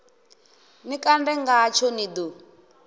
ni kande ngatsho ni ḓo